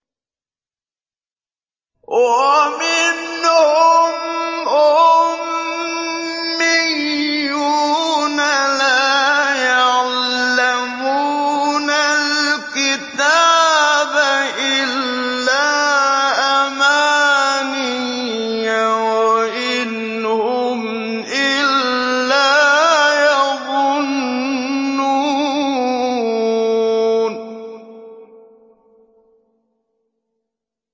وَمِنْهُمْ أُمِّيُّونَ لَا يَعْلَمُونَ الْكِتَابَ إِلَّا أَمَانِيَّ وَإِنْ هُمْ إِلَّا يَظُنُّونَ